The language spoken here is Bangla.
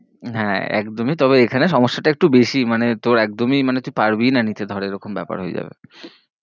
হ্যাঁ, একদমই তবে এখানে সমস্যা টা একটু বেশি, মানে তোর একদমই মানে তুই পারবি ই না নিতে ধর এরকম ব্যাপার হয়ে যাবে।